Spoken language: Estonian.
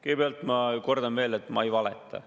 Kõigepealt, ma kordan veel, et ma ei valeta.